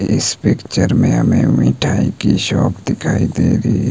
इस पिक्चर में हमें मिठाई की शॉप दिखाई दे रही--